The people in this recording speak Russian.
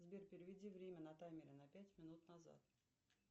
сбер переведи время на таймере на пять минут назад